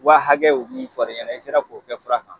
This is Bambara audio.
Wa hakɛ o min fɔra i ɲɛna i sera k'o kɛ fura kan ?